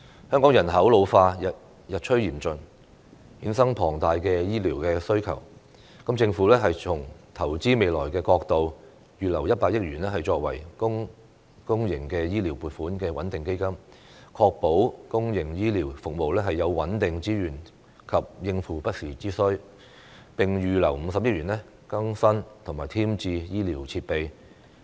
香港人口老化日趨嚴峻，衍生龐大的醫療需求，政府從投資未來的角度預留100億元作為公營醫療撥款穩定基金，確保公營醫療服務有穩定資源及應付不時之需，並預留50億元更新和添置醫療設備。